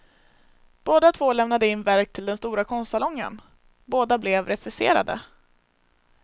Båda två lämnade in verk till den stora konstsalongen, båda blev refuserade.